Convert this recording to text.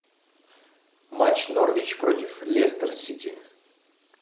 матч норвич против лестер сити